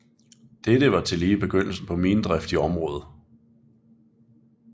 Dette var tillige begyndelsen på minedrift i området